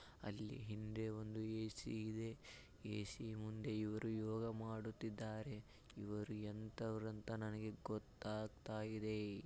ಅಲ್ಲಿ ಹಿಂದೆ ಒಂದು ಎ_ಸಿ ಇದೆ ಎ_ಸಿ ಮುಂದೆ ಇವರು ಯೋಗ ಮಾಡುತ್ತಿದ್ದಾರೆ ಇವರು ಎಂತವರು ಅಂತ ನನಗೆ ಗೊತ್ತಾಗ್ತಾ ಇದೆ.